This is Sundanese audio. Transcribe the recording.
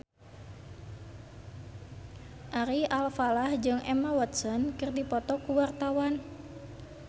Ari Alfalah jeung Emma Watson keur dipoto ku wartawan